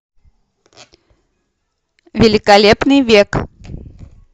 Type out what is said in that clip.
великолепный век